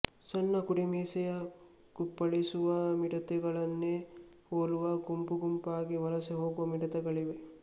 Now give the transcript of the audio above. ಸಣ್ಣ ಕುಡಿಮೀಸೆಯ ಕುಪ್ಪಳಿಸುವ ಮಿಡತೆಗಳನ್ನೇ ಹೋಲುವ ಗುಂಪುಗುಂಪಾಗಿ ವಲಸೆ ಹೋಗುವ ಮಿಡತೆಗಳಿವೆ